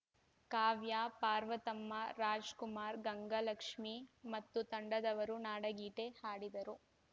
ಕಾವ್ಯಾ ಪಾರ್ವತಮ್ಮ ರಾಜ್‍ಕುಮಾರ್ ಗಂಗಲಕ್ಷ್ಮಿ ಮತ್ತು ತಂಡದವರು ನಾಡಗೀತೆ ಹಾಡಿದರು